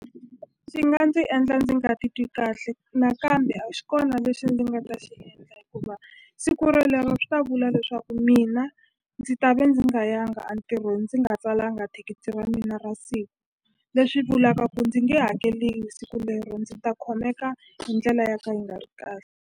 Swi nga ndzi endla ndzi nga titwi kahle nakambe a xi kona lexi ndzi nga ta xi endla hikuva siku rolero swi ta vula leswaku mina ndzi ta ve ndzi nga yanga antirhweni ndzi nga tsalanga thikithi ra mina ra siku leswi vulaka ku ndzi nge hakeli siku lero ndzi ta khomeka hi ndlela ya ka yi nga ri .